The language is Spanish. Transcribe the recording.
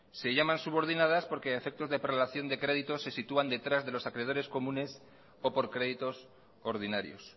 se llaman subordinadas porque a efectos de prelación de créditos se sitúan detrás de los acreedores comunes o por créditos ordinarios